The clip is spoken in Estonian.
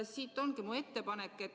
Siit ongi minu ettepanek.